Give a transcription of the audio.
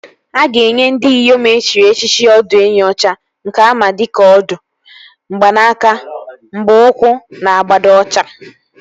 A ga-enye ndị Iyom e chiri echichi ọdụenyi ọcha nke ama dịka Ọdụ, mgbanaka, mgba ụkwụ na abada ọcha